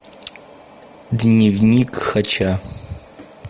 дневник хача